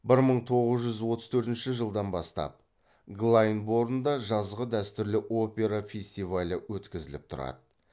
бір мың тоғыз жүз отыз төртінші жылдан бастап глайндборнда жазғы дәстүрлі опера фестивалі өткізіліп тұрады